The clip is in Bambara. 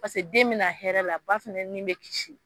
Paseke den bɛna hɛrɛ la, ba fana nin bɛ kisi.